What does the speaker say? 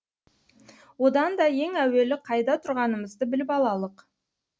одан да ең әуелі қайда тұрғанымызды біліп алалық